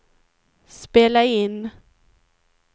spela in